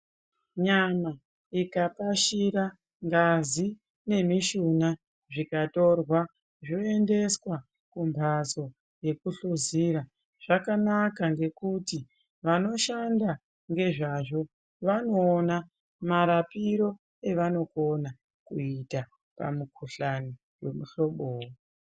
Nyama ikapashira ngazi nemishuna zvikatorwa zvoendeswa kumhatso yekuhluzira zvakanaka ngekuti vanoshanda ngezvazvo vanoona marapiro evanokona kuita pamukhuhlani yemihlobowo.